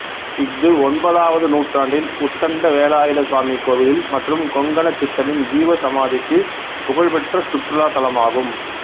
இஃது ஒன்பதாவது நூற்றாண்டின் உத்தண்ட வேலாயுத சுவாமி கோவில் மற்றும் கொங்கணச் சித்தரின் ஜீவ சமாதிக்குப் புகழ்பெற்ற சுற்றுலாத் தளமாகும்